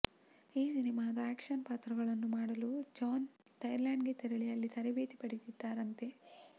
ಈ ಸಿನಿಮಾದ ಆ್ಯಕ್ಷನ್ ಪಾತ್ರಗಳನ್ನು ಮಾಡಲು ಜಾನ್ ಥೈಲ್ಯಾಂಡ್ಗೆ ತೆರಳಿ ಅಲ್ಲಿ ತರಬೇತಿ ಪಡೆದಿದ್ದಾರಂತೆ